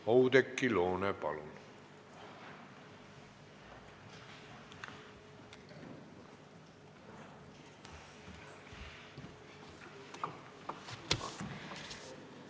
Oudekki Loone, palun!